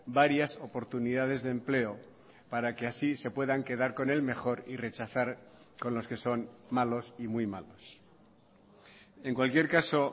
varias oportunidades de empleo para que así se puedan quedar con el mejor y rechazar con los que son malos y muy malos en cualquier caso